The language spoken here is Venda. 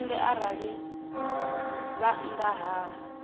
tshipembe arali vha nnḓa ha